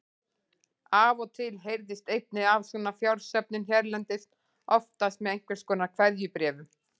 Af og til heyrist einnig af svona fjársöfnun hérlendis, oftast með einhvers konar keðjubréfum.